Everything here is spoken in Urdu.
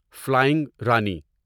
فلینگ رانی